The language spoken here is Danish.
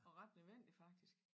Og ret nødvendig faktisk